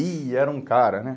Ih, era um cara, né?